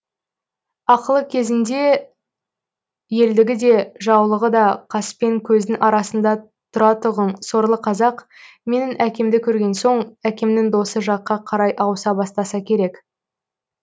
ақылы кезінде елдігі де жаулығы да қаспен көздің арасында тұратұғын сорлы казақ менің әкемді көрген соң әкемнің досы жаққа қарай ауыса бастаса керек